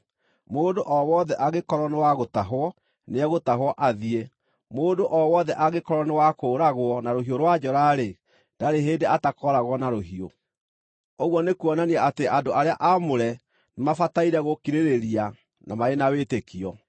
Mũndũ o wothe angĩkorwo nĩ wa gũtahwo, nĩegũtahwo athiĩ. Mũndũ o wothe angĩkorwo nĩ wa kũũragwo na rũhiũ rwa njora-rĩ, ndarĩ hĩndĩ atakooragwo na rũhiũ. Ũguo nĩkuonania atĩ andũ arĩa aamũre nĩmabataire gũkirĩrĩria, na marĩ na wĩtĩkio.